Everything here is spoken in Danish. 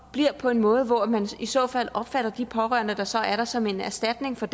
bliver på en måde hvor man i så fald opfatter de pårørende der så er der som en erstatning for